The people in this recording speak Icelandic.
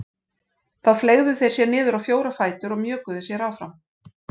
Þá fleygðu þeir sér niður á fjóra fætur og mjökuðu sér áfram.